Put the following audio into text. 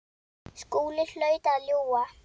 Skúli hlaut að ljúga.